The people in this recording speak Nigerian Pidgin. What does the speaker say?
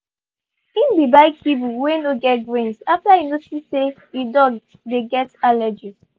he been buy kibble weu no get grains after he notice say he dog dey get allergies